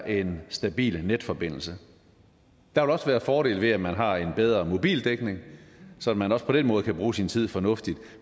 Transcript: er en stabil netforbindelse der vil også være fordele ved at man har en bedre mobildækning så man også på den måde kan bruge sin tid fornuftigt